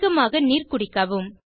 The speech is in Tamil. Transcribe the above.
அதிகமாக நீர் குடிக்கவும்